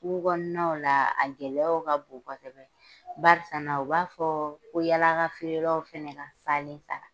Kungo kɔɔnaw laa a gɛlɛyaw ka bon kosɛbɛ barisana u b'a fɔɔ ko yaala ka feerelaw fɛnɛ ka salen ta.